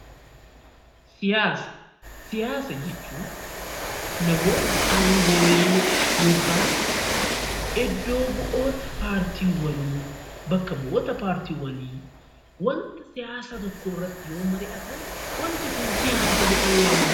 Siyaasa jechuun namoota aangolee yookiin iddoo bu'oota partiiwwanii wanta siyaasaa tokko irratti yoo mari'atan wanti Kun siyaasa jedhamee waamama.